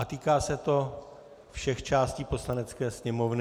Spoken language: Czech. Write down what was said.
A týká se to všech částí Poslanecké sněmovny.